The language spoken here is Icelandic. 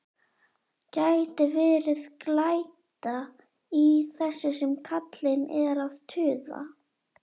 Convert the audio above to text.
Gæti verið glæta í þessu sem kallinn er að tuða.